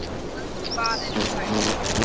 Andvarinn sagði ég.